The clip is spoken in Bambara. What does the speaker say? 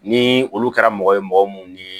Ni olu kɛra mɔgɔ ye mɔgɔ mun ni